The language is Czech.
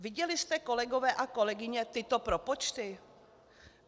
Viděli jste, kolegové a kolegyně, tyto propočty?